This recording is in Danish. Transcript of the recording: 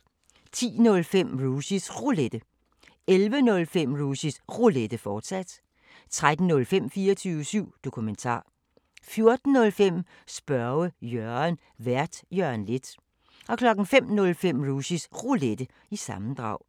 10:05: Rushys Roulette 11:05: Rushys Roulette, fortsat 13:05: 24syv Dokumentar 14:05: Spørge Jørgen Vært: Jørgen Leth 05:05: Rushys Roulette – sammendrag